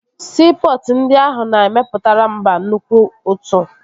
Siipọtụ ndị ahụ na-emepụtara mba nnukwu ụtụ